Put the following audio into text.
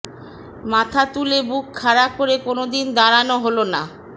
মাথা তুলে বুক খাড়া করে কোনোদিন দাঁড়ানো হলো না